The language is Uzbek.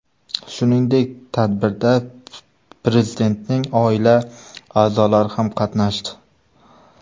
Shuningdek, tadbirda Prezidentning oila a’zolari ham qatnashdi.